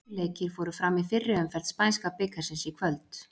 Tveir leikir fóru fram í fyrri umferð spænska bikarsins í kvöld.